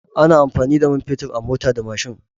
Ana amfani da man fetur a mota da mashin.